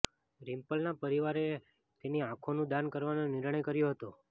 રિમ્પલના પરિવારે તેની આંખોનું દાન કરવાનો નિર્ણય કર્યો હતો